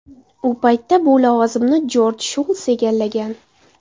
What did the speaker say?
U paytda bu lavozimni Jorj Shuls egallagan.